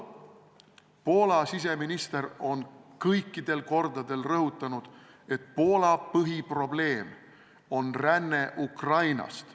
Poola siseminister on kõikidel kordadel rõhutanud, et Poola põhiprobleem on ränne Ukrainast.